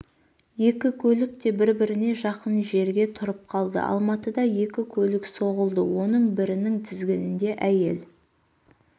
екі көлік те бір-біріне жақын жерге тұрып қалды алматыда екі көлік соғылды оның бірінің тізгінінде әйел